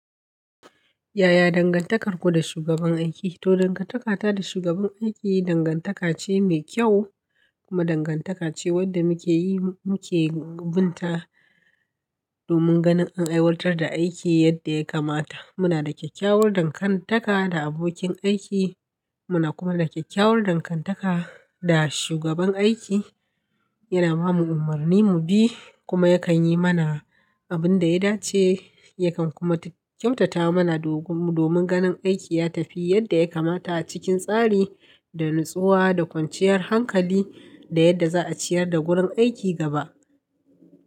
Yaya dangantakarku da shugaban aiki? To, dangantakata da shugaban aiki dangantaka ce mai kyau kuma dangantaka ce wadda muke yi muke binta domin ganin an aiwatar da aiki yadda ya kamata. Muna da kyakkyawar dangantaka da abokin aiki. Muna kuma da kyakkyawar dangantaka da shugaban aiki. Yana ba mu umarni mu bi kuma yakan yi mana abin da ya dace, yakan kuma kyautata mana domin ganin aiki ya tafi yadda ya kamata a cikin tsari da nutsuwa da kwanciyar hankali da yadda za'a ciyar da gurin aiki gaba.